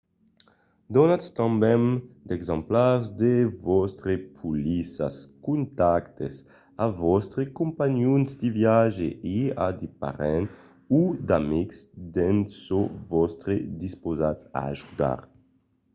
donatz tanben d'exemplars de vòstres polissas/contactes a vòstres companhons de viatge e a de parents o d’amics d'en çò vòstre dispausats a ajudar